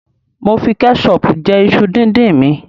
Mo fi kẹṣọọ̀pù jẹ iṣu díndín mi.